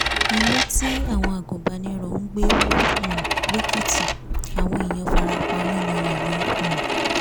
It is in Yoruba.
llé tí àwọn agùnbánirò ń ń gbé wọ um lẹ́kìtì àwọn èèyàn farapa yánnayànna um